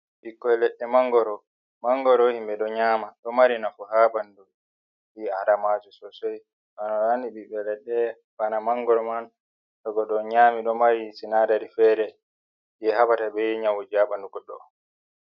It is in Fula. Ɓikkoy leɗɗe "manngoro", "manngoro" himɓe ɗo nyaama, ɗo mari nafu ha ɓanndu ɓii'aadamaajo "soosey". Bano haani ɓiɓɓe leɗɗe bana "manngoro" man, to goɗɗo nyaami ɗo mari "sinaadari" feere jey haɓata bee nyawuuji ha ɓanndu goɗɗo.